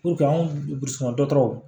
anw burusi kɔnɔ dɔgɔtɔrɔw